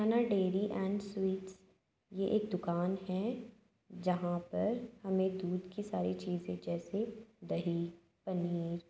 dairy and sweets यह एक दुकान है जहां पर हमें दूध की सारी चीज जैसे दही पनीर --